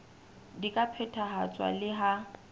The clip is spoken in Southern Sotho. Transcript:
di ka phethahatswa le ha